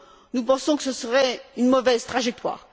nous pensons que ce serait une mauvaise trajectoire.